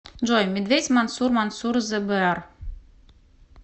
джой медведь мансур мансур зе бэар